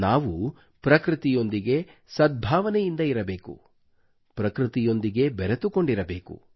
ನಾವು ಪ್ರಕೃತಿಯೊಂದಿಗೆ ಸದ್ಭಾವನೆಯಿಂದ ಇರಬೇಕು ಪ್ರಕೃತಿಯೊಂದಿಗೆ ಬೆರೆತುಕೊಂಡಿರಬೇಕು